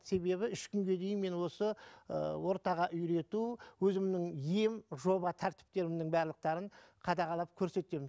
себебі үш күнге дейін мен осы ыыы ортаға үйрету өзімнің ем жоба тәртіптерімнің барлықтарын қадағалап көресетемін